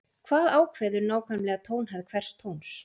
hvað ákveður nákvæmlega tónhæð hvers tóns